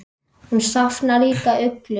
Hún safnar líka uglum.